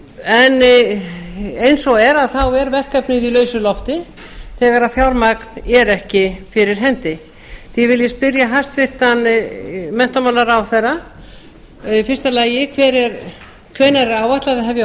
en eins og er er þá verkefnið í lausu lofti þegar fjármagnið er ekki fyrir hendi því vil ég spyrja hæstvirtan menntamálaráðherra í fyrsta lagi hvenær er áætlað að hefja